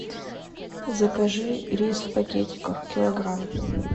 закажи рис в пакетиках килограмм